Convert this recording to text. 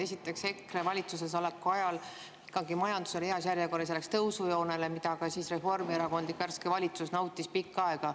Esiteks, EKRE valitsuses oleku ajal oli majandus ikkagi heal järjel ja läks tõusujoonele, mida ka siis reformierakondlik värske valitsus nautis pikka aega.